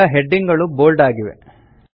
ಈಗ ಹೆಡಿಂಗ್ ಗಳು ಬೋಲ್ಡ್ ಆಗಿವೆ